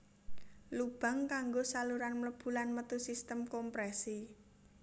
Lubang kanggo saluran mlebu lan metu sistem komprèsi